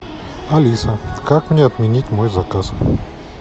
алиса как мне отменить мой заказ